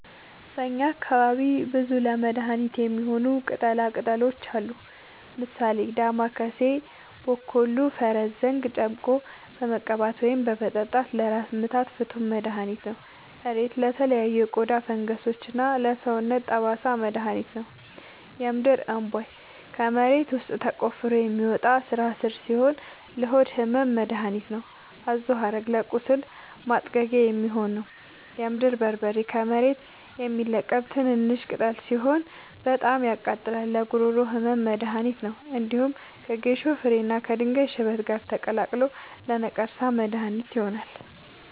በእኛ አካባቢ ብዙ ለመድሀነት የሚሆኑ ቅጠላ ቅጠሎች አሉ። ምሳሌ፦ ዳማከሴ እና ቦኮሉ(ፈረስዘንግ) ጨምቆ በመቀባት ወይም በመጠጣት ለራስ ምታት ፍቱን መድሀኒት ነው። እሬት ለተለያዩ የቆዳ ፈንገሶች እና ለሰውነት ጠባሳ መድሀኒት ነው። የምድርእንቧይ ከመሬት ውስጥ ተቆፍሮ የሚወጣ ስራስር ሲሆን ለሆድ ህመም መደሀኒት ነው። አዞሀረግ ለቁስል ማጥጊያ የሚሆን ነው። የምድር በርበሬ ከመሬት የሚለቀም ትንሽሽ ቅጠል ሲሆን በጣም ያቃጥላል ለጉሮሮ ህመም መድሀኒት ነው። እንዲሁም ከጌሾ ፍሬ እና ከድንጋይ ሽበት ጋር ተቀላቅሎ ለነቀርሳ መድሀኒት ይሆናል።